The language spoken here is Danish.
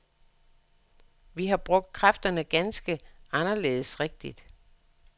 Vi har brugt kræfterne ganske anderledes rigtigt.